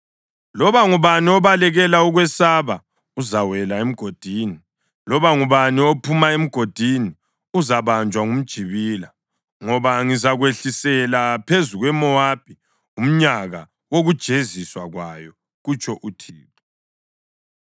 “Loba ngubani obalekela ukwesaba uzawela emgodini, loba ngubani ophuma emgodini uzabanjwa ngumjibila; ngoba ngizakwehlisela phezu kweMowabi umnyaka wokujeziswa kwayo,” kutsho uThixo.